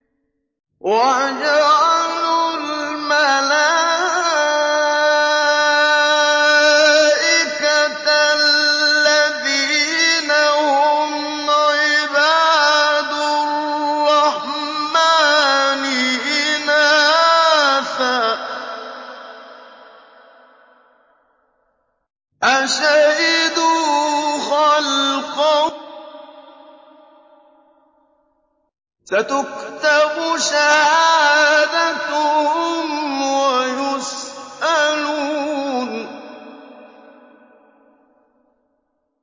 وَجَعَلُوا الْمَلَائِكَةَ الَّذِينَ هُمْ عِبَادُ الرَّحْمَٰنِ إِنَاثًا ۚ أَشَهِدُوا خَلْقَهُمْ ۚ سَتُكْتَبُ شَهَادَتُهُمْ وَيُسْأَلُونَ